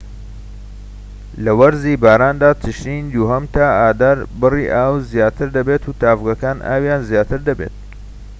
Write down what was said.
لە وەرزی باراندا تشرینی دووهەم تا ئازار بڕی ئاو زیاتر دەبێت و تاڤگەکان ئاویان زیاتر دەبێت